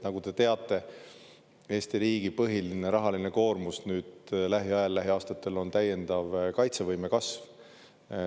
Nagu te teate, Eesti riigi põhiline rahaline koormus nüüd lähiajal, lähiaastatel, on täiendav kaitsevõime kasv.